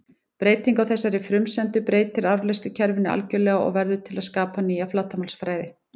Breyting á þessari frumsendu breytir afleiðslukerfinu algjörlega og verður til að skapa nýja flatarmálsfræði.